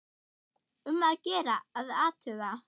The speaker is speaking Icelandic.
Um að gera að athuga.